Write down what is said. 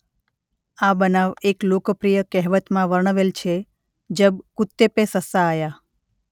આ બનાવ એક લોકપ્રિય કહેવતમાં વર્ણવેલ છે જબ કુત્તે પે સસ્સા આયા